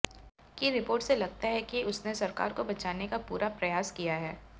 की रिपोर्ट से लगता है कि उसने सरकार को बचाने का पूरा प्रयास किया है